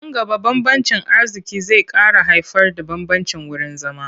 Nan gaba bambancin arziƙi zai ƙara haifarda bambancin wurin zama.